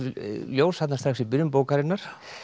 ljós þarna strax í byrjun bókarinnar